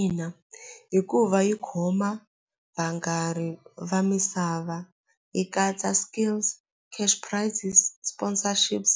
Ina hikuva yi khoma va misava yi katsa skills cash prices sponsorships